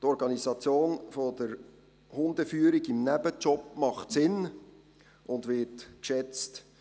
– Die Organisation der Hundeführung im Nebenamt ist sinnvoll und wird geschätzt.